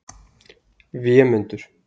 Vémundur